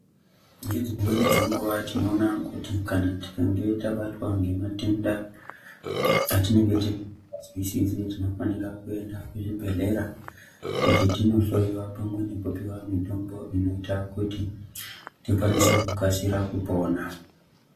Ngedzimweni dzenguwa tinoona kuti kana tikange tabatwa ngematenda atinenge tisinganzwisisi tinofanira kuenda kuzvibhehleya kuti tinohloyiya pamwe nekupiwa mitombo inoita kuti tikwanise kugashira kupona.